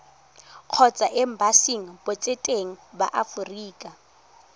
kgotsa embasing botseteng ba aforika